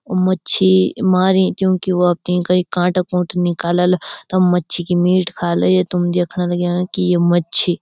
मच्छी मारीं च यूकी वख त ईका ई काँटा कूठा निकालला तब मच्छी की मीट खाला ये तुम दयेखण लग्यां की यु मच्छी।